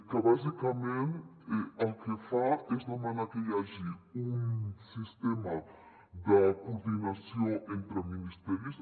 que bàsicament el que fa és demanar que hi hagi un sistema de coordinació entre ministeris